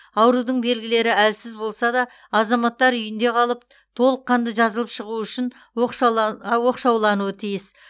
аурудың белгілері әлсіз болса да азаматтар үйінде қалып толыққанды жазылып шығуы үшін оқшау оқшаулануы тиіс